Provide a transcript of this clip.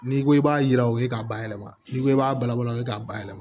N'i ko i b'a yira o ye k'a bayɛlɛma n'i ko i b'a balabala o ye k'a bayɛlɛma